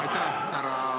Aitäh, härra esimees!